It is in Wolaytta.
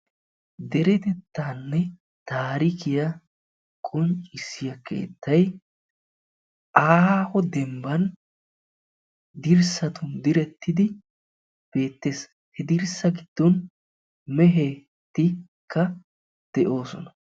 Deretettaanne taarikiya qonccissiya keettay aaho dembban dirssatu direttidi beettees. He dirssa giddon mehetikka de'oosona.